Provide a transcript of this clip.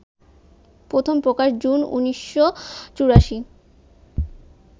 প্রথম প্রকাশ জুন ১৯৮৪